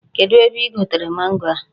Kedụ ebe i gotere mango a?